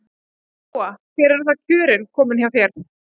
Lóa: Hvert eru þá kjörin komin hjá þér?